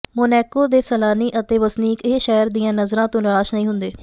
Monaco ਦੇ ਸੈਲਾਨੀ ਅਤੇ ਵਸਨੀਕ ਇਸ ਸ਼ਹਿਰ ਦੀਆਂ ਨਜ਼ਰਾਂ ਤੋਂ ਨਿਰਾਸ਼ ਨਹੀਂ ਹੁੰਦੇ